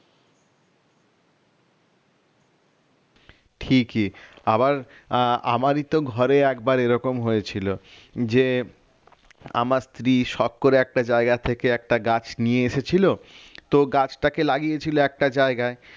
ঠিকই আবার আহ আমারই তো ঘরে একবার এরকম হয়েছিল যে আমার স্ত্রী শখ করে একটা জায়গা থেকে একটা গাছ নিয়ে এসেছিল তো গাছটাকে লাগিয়ে ছিল একটা জায়গায়